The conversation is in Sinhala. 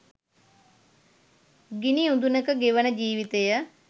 ගිනි උදුනක ගෙවන ජීවිතය